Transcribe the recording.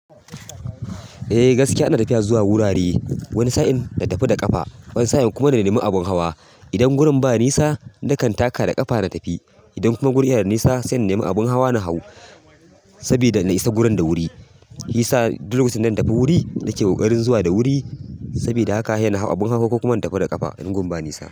Eh gaskiya ina tafiya zuwa wurare, wani sa'in na tafi da ƙafa, wani sa'in kuma na nemi abun hawa. Idan gurin ba nisa, nakan taka da ƙafa na tafi. Idan kuma guri yana da nisa sai na nemi abun hawa na hau sabida na isa gurin da wuri. Shiyasa duk wajen da in dan tafi wuri nake ƙoƙarin zuwa da wuri. Saboda haka he na hau abun hawa ko kuma na tafi da ƙafa in gun ba nisa.